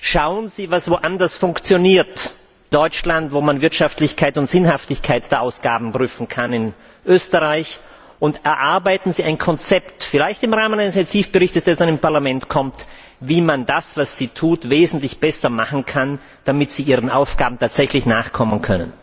Schauen Sie, was woanders funktioniert in Deutschland, wo man Wirtschaftlichkeit und Sinnhaftigkeit der Ausgaben prüfen kann, in Österreich und erarbeiten Sie ein Konzept, vielleicht im Rahmen eines Initiativberichts, der aus einem Parlament kommt, wie man das, was Sie tun, wesentlich besser machen kann, damit Sie Ihren Aufgaben tatsächlich nachkommen können.